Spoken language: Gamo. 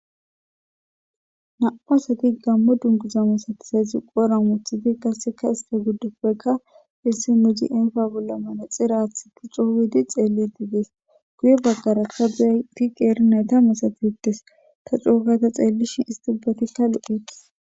Na'u asati gammo dunguza masatisezi qodhoora wothidi qasseka iste giddopekka issinzi ayfa bolla manexiraath wothidi coo gidi xeellidi dees guye baggarakka deti qeeri nayta misatisites ta cookayta xeellishin istibetikka lo'etis.